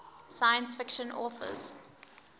science fiction authors